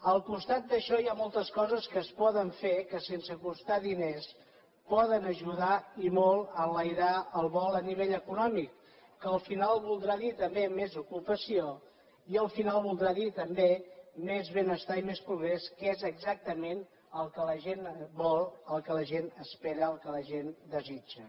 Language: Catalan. al costat d’això hi ha moltes coses que es poden fer que sense costar diners poden ajudar i molt a enlairar el vol a nivell econòmic que al final voldrà dir també més ocupació i al final voldrà dir també més benestar i més progrés que és exactament el que la gent vol el que la gent espera el que la gent desitja